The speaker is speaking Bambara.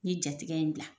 N ye jatigɛ in bila